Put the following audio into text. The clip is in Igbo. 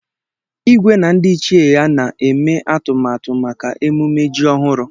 Igwe na ndị ichie ya na-eme atụmatụ maka emume ji ọhụrụ